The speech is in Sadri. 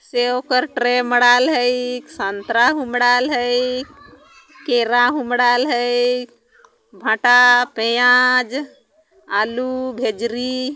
सेव कर ट्रे मड़ाल ह इक संतरा हुमडाल हइक केरा हुमडाल हइक भाटा पियाज़ आलू भेजरी--